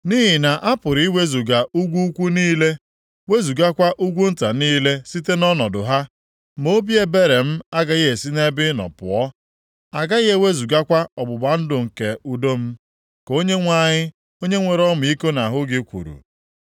Nʼihi na a pụrụ iwezuga ugwu ukwu niile, wezugakwa ugwu nta niile site nʼọnọdụ ha, ma obi ebere m agaghị esi nʼebe ị nọ pụọ, agaghị ewezugakwa ọgbụgba ndụ nke udo m,” ka Onyenwe anyị, onye nwere ọmịiko nʼahụ gị, kwuru.